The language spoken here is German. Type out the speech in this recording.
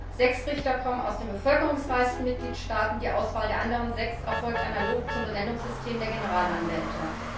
Oder Sechs Richter kommen aus den bevölkerungsreichsten Mitgliedstaaten, die Auswahl der anderen sechs erfolgt analog zum Benennungssystem der Generalanwälte.